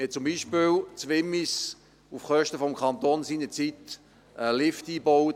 In Wimmis bauten wir zum Beispiel auf Kosten des Kantons seinerzeit einen Lift ein.